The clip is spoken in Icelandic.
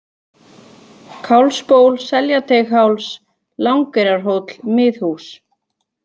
Kálfsból, Seljateigháls, Langeyrarhóll, Miðhhús